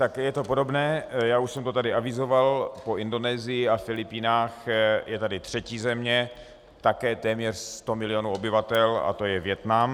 Tak je to podobné, já už jsem to tady avizoval, po Indonésii a Filipínách je tady třetí země, také téměř 100 milionů obyvatel, a to je Vietnam.